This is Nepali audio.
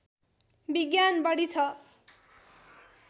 विज्ञान बढी ६